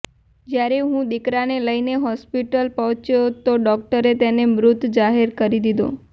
જ્યારે હું દીકરાને લઈને હોસ્પિટલ પહોંચ્યો તો ડોક્ટરે તેને મૃત જાહેર કરી દીધો